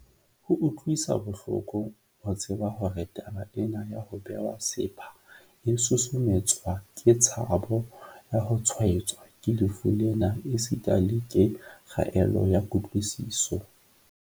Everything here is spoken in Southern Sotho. Ho utlwisa bohloko ho tseba hore taba ena ya ho bewa sepha e susumetswa ke tshabo ya ho tshwaetswa ke lefu lena esita le ke kgaello ya kutlwisiso.